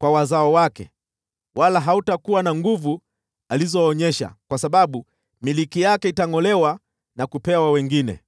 kwa wazao wake, wala hautakuwa na nguvu alizotumia, kwa sababu milki yake itangʼolewa na kupewa wengine.